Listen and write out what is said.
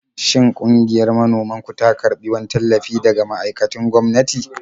Shin ƙungiyar manoman ku ta karbi wani tallafi daga ma'aikatun gwamnati?